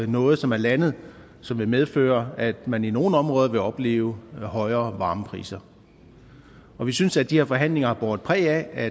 noget som er landet og som vil medføre at man i nogle områder vil opleve højere varmepriser vi synes at de her forhandlinger har båret præg af at